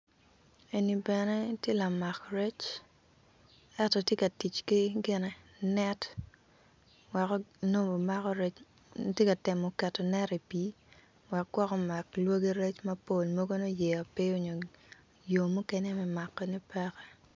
En ni bene ti lamak rec eto tye ka tic ki gine net wek nongo obimako rec ti ka temo keto net i pii wek gwok omak lwaggi rec mapol mogo nongo yeya pe onyo yo mukene me makone peke